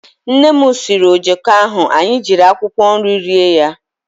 Nnem siiri ojoko ahụ anyị ejiri akwụkwọ nri rie ya.